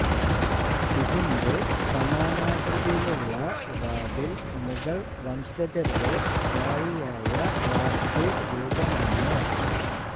ഇതിന്റെ കമാനാകൃതിയിലുള്ള വാതിൽ മുഗൾ വംശജരുടെ സ്ഥായിയായ വാസ്തു രൂപമാണ്